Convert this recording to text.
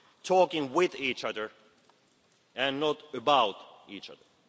talking with each other and not about each other.